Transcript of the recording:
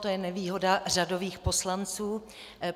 To je nevýhoda řadových poslanců.